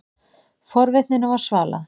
Forvitninni var svalað.